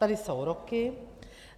Tady jsou roky.